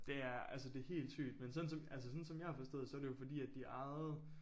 Det er altså det helt sygt men sådan altså sådan som jeg har forstået så er det jo fordi at de ejede